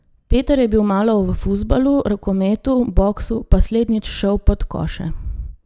Peter je bil malo v fuzbalu, rokometu, boksu, pa slednjič šel pod koše.